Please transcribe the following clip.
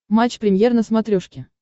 матч премьер на смотрешке